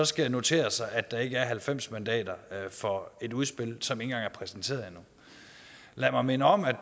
skal notere sig at der ikke er halvfems mandater for et udspil som ikke engang er præsenteret endnu lad mig minde om at